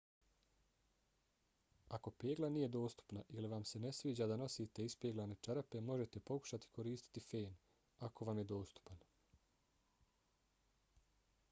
ako pegla nije dostupna ili vam se ne sviđa da nosite ispeglane čarape možete pokušati koristiti fen ako vam je dostupan